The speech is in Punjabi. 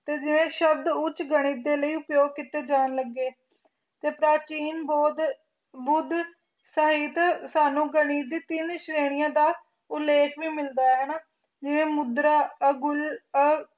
ਤੇ ਜਿਵੇ ਸ਼ਬਦ ਉਚ ਗਣਿਤ ਦੇ ਲਈ ਪ੍ਰਯੋਗ ਕੀਤੇ ਜਾਣ ਲੱਗੇ ਤੇ ਪ੍ਰਾਚੀਨ ਬੁਧ ਬੋਧ ਸਾਹਿਤ ਸਾਨੂੰ ਗਣਿਤ ਤਿੰਨ ਸ੍ਰੈਣੀਆਂ ਦਾ ਉਲੇਖ ਵੀ ਮਿਲਦਾ ਹੈ ਜਿਵੇ ਮੁਦਰਾ ਉਲ